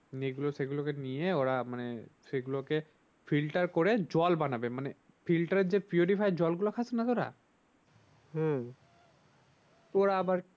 এগুলো সেগুলোকে নিয়ে ওরা মানে সেগুলোকে করে জল বানাবে মানে যে জলগুলো থাকে না দাদা? হম ওরা আবার